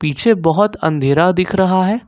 पीछे बहोत अंधेरा दिख रहा है।